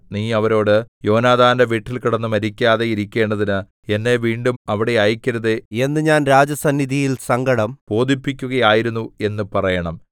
നീ അവരോട് യോനാഥാന്റെ വീട്ടിൽ കിടന്നു മരിക്കാതെ ഇരിക്കേണ്ടതിന് എന്നെ വീണ്ടും അവിടെ അയക്കരുതേ എന്ന് ഞാൻ രാജസന്നിധിയിൽ സങ്കടം ബോധിപ്പിക്കുകയായിരുന്നു എന്ന് പറയണം